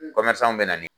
bɛ na ni